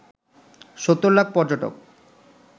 ৭০ লাখ পর্যটক